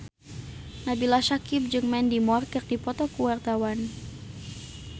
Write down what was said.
Nabila Syakieb jeung Mandy Moore keur dipoto ku wartawan